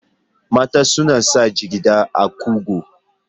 Mata suna sanya jigiɗa a kugu.